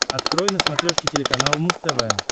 открой на смотрешке телеканал муз тв